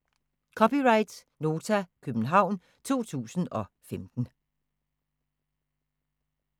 (c) Nota, København 2015